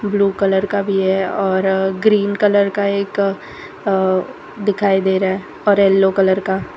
blue colour का भी है और ग्रीन कलर का एक अ दिखाई दे रहा और येल्लो कलर का--